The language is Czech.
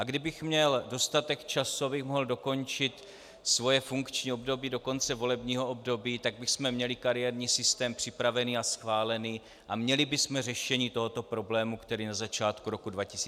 A kdybych měl dostatek času, abych mohl dokončit svoje funkční období do konce volebního období, tak bychom měli kariérní systém připravený a schválený a měli bychom řešení tohoto problému, který na začátku roku 2015 nastane.